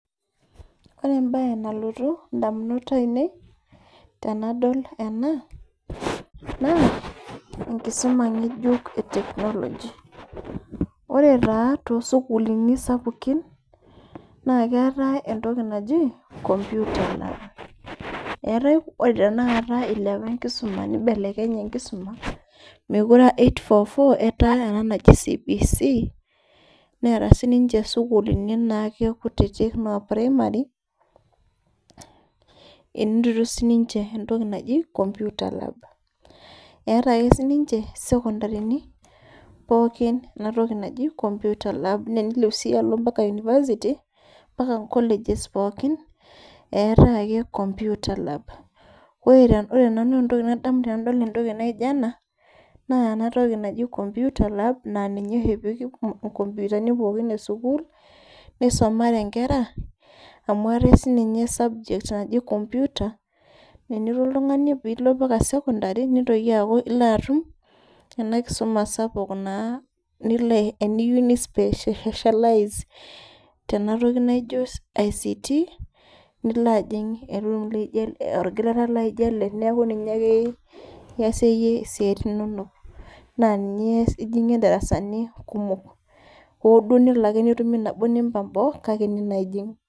Ore embaye nalotu indamunot ainei tenadol ena naa enkisuma ng'ejuk e technology ore taa tosukuluni sapukin naa keetae entoki naji computer lab ore tena kata ilepa enkisuma nibelekenye enkisuma mekure uh 8-4-4 etaa ena naji CBC neeta sininche sukulini naake kutitik inoo primary enotito sininche entoki naji computer labcs] eeta ake sininche isekondarini pookin enetoki naji computer lab naa enilep sii alo mpaka university mpaka inkolejes pookin eetae ake computer lab ore nanu entooki nadamu tenadol entoki naijio ena naa enatoki naji computer lab naa ninye oshi epiki inkompiutani pookin esukuul neisomare inkera amu eetae sininye e subject naji computer nenilo piilo paka sekondari nitoki aaku io atum ena kisuma sapuk naa nilo eniyieu ni cs]specialize tenatoki naijio ICT ajing e room naijio ele orgilata laijio ele neeku ninye ake iasie iyie isiaitin inonok naa ninye ijing'ie isipitalini kumok hooduo nelo ake netumi nabo nimbang boo kake ene naa ijing.